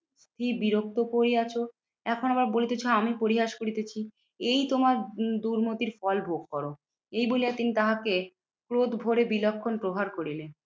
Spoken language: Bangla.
কি বিরক্ত করিয়াছ? এখন আবার বলিতেছ আমি পরিহাস করিতেছি? এই তোমার দুর্মতির ফল ভোগ করো, এই বলিয়া তিনি তাহাকে ক্রোধ ভরে বিলক্ষণ প্রহার করিলেন।